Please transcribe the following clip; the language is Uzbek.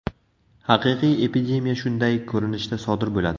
Haqiqiy epidemiya shunday ko‘rinishda sodir bo‘ladi.